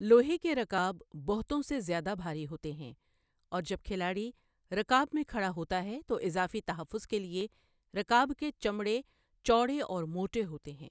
لوہے کے رکاب بہتوں سے زیادہ بھاری ہوتے ہیں، اور جب کھلاڑی رکاب میں کھڑا ہوتا ہے تو اضافی تحفظ کے لیے رکاب کے چمڑے چوڑے اور موٹے ہوتے ہیں۔